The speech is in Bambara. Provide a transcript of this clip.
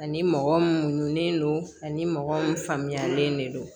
Ani mɔgɔ mununen don ani mɔgɔ faamuyalen de don